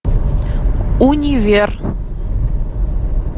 универ